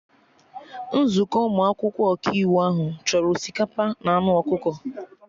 Nzukọ ụmụ akwụkwọ Ọkaiwu ahụ chọrọ osikapa na anụ ọkụkọ